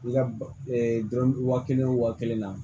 I ka dɔrɔn wa kelen wo kelen na